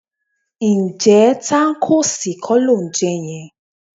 Ǹjẹ́ tákóòsì kọ́ lò ń jẹ yẹn?